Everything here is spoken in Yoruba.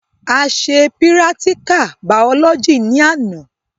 A se pírátíkà bàọ́lọ́gì ní àná